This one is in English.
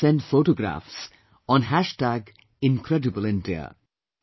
You must send photographs on incredibleindia